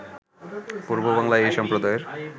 পূর্ববাংলায় এই সম্প্রদায়ের